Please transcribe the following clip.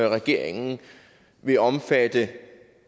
regeringen vil omfatte